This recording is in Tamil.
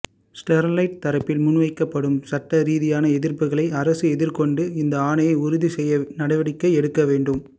ஸ்டெர்லைட் தரப்பில் முன்வைக்கப்படும் சட்டரீதியான எதிர்ப்புக்களை அரசு எதிர்கொண்டு இந்த ஆணையை உறுதி செய்ய நடவடிக்கை எடுக்க வேண்டும்